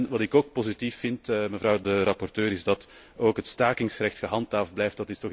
Wat ik ook positief vind, mevrouw de rapporteur, is dat het stakingsrecht gehandhaafd blijft.